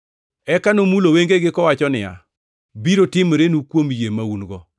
Eka nomulo wengegi kowacho niya, “Biro timorenu kuom yie ma un-go,”